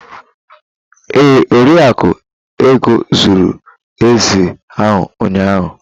Ee, Oriakụ Ego zụrụ ezi ahụ ụnyahụ.